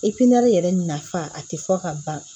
yɛrɛ nafa a ti fɔ ka ban